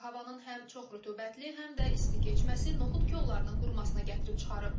Havanın həm çox rütubətli, həm də isti keçməsi noxud kollarının qurumasına gətirib çıxarıb.